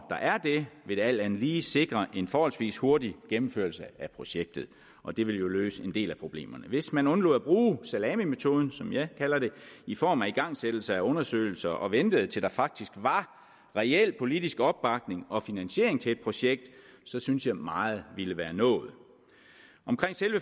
er det vil det alt andet lige sikre en forholdsvis hurtig gennemførelse af projektet og det vil jo løse en del af problemerne hvis man undlod at bruge salamimetoden som jeg kalder det i form af igangsættelse af undersøgelser og ventede til der faktisk var reel politisk opbakning og finansiering til et projekt så synes jeg meget ville være nået